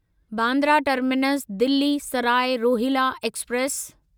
Bandra terminus Delhi Sarai Rohilla express